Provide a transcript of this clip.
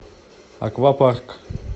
аквапарк